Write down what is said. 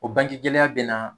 O bangegɛlɛya bɛ na